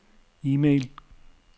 e-mail